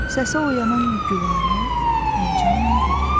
Səsə oyanan Gülarə həyəcanla dedi.